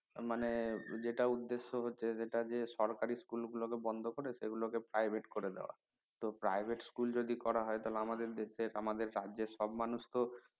মানে যেটা উদ্দেশ হচ্ছে যেটা যে সরকারি school গুলো কে বন্ধ করে সেগুলো কে private করে দেওয়া তো private school যদি করা হয় তাহলে আমাদের দেশের আমাদের রাজ্যের সব মানুষ তো